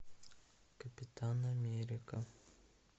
капитан америка